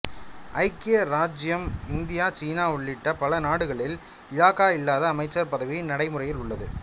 ஐக்கிய இராச்சியம் இந்தியா சீனா உள்ளிட்ட பலநாடுகளில் இலாகா இல்லாத அமைச்சர் பதவி நடைமுறையில் உள்ளது